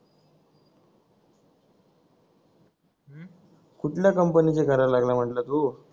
कुठल्या कंपनीचे करायला लागलं म्हंटलं तू